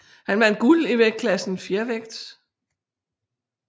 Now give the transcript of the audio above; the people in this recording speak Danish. Han vandt guld i vægtklassen fjervægt